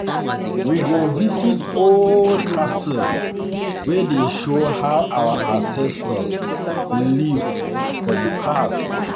We go visit old castle wey dey show how our ancestors live for di past.